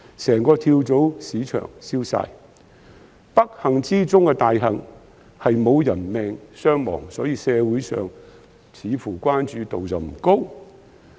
整個跳蚤市場都被燒毀，不幸中之大幸是沒有人命傷亡，所以社會對此似乎關注度不高。